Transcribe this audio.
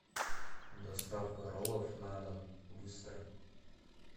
доставка роллов на дом быстро